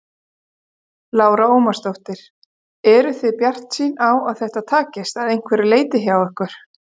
Lára Ómarsdóttir: Eruð þið bjartsýn á að þetta takist, að einhverju leyti hjá ykkur?